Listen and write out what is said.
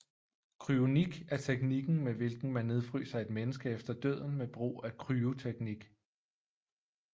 Kryonik er teknikken med hvilken man nedfryser et menneske efter døden med brug af kryoteknik